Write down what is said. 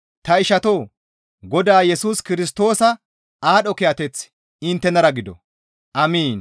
Ta ishatoo! Godaa Yesus Kirstoosa aadho kiyateththi inttenara gido! Amiin.